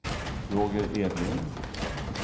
Roger Edlund